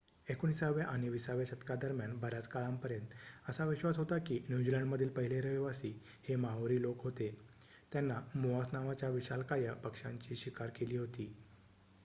एकोणिसाव्या आणि विसाव्या शतकादरम्यान बर्‍याच काळापर्यंत असा विश्वास होता की न्यूझीलंडमधील पहिले रहिवासी हे माओरी लोकं होते त्यांनी मोआस नावाच्या विशालकाय पक्ष्यांची शिकार केली होती